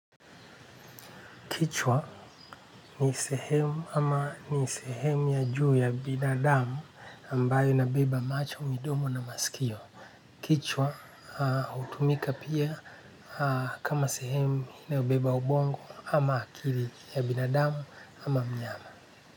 Kichwa ni sehemu ama ni sehemu ya juu ya binadamu ambayo ina beba macho midomo na masikio. Kichwa hutumika pia kama sehemu inayo beba ubongo ama akili ya binadamu ama mnyama.